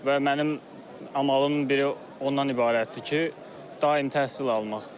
Və mənim amalımın biri ondan ibarətdir ki, daim təhsil almaq.